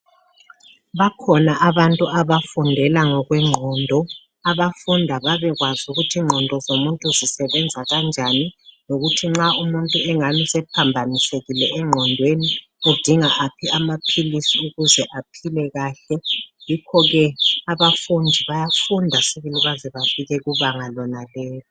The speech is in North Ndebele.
bakhona abantu abafundela ngokwenqondo abafunda babe kwazi ukuthi inqondo zomuntu zisebenza kanjani lokuthi nxa umuntu engani sephambanisekile enqonweni udinga aphi amaphilisi ukuze aphile kahle yikho ke abafundi bayafunda sibili baze bafike kubanga lonalelo